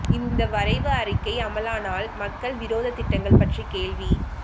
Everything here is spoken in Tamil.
இந்த வரைவு அறிக்கை அமலானால் மக்கள் விரோத திட்டங்கள் பற்றி கேள்வி